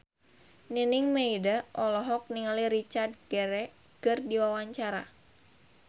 Nining Meida olohok ningali Richard Gere keur diwawancara